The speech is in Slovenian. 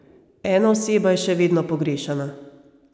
Ena oseba je še vedno pogrešana.